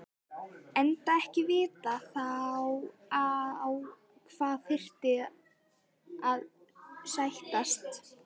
Enda ekki vitað þá á hvað þyrfti að sættast.